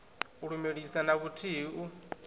u lumelisa na vhuthihi u